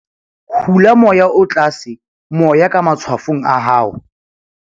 hula moya o tlatse moya ka matshwafong a hao